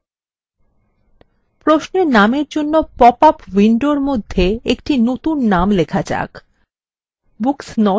প্রশ্নের নামের জন্য পপআপ window মধ্যে একটি নতুন name লেখা যাক: books not returned